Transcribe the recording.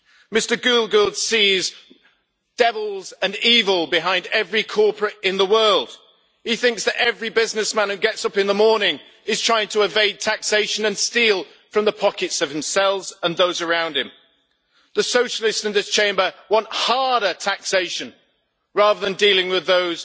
Mr Giegold sees devils and evil behind every corporate in the world. He thinks that every businessman who gets up in the morning is trying to evade taxation and steal from the pockets of himself and those around him. The socialists in this Chamber want harder taxation rather than dealing with those